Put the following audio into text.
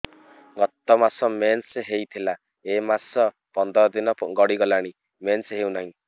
ଗତ ମାସ ମେନ୍ସ ହେଇଥିଲା ଏ ମାସ ପନ୍ଦର ଦିନ ଗଡିଗଲାଣି ମେନ୍ସ ହେଉନାହିଁ